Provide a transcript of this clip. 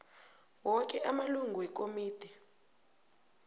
woke amalungu wekomidi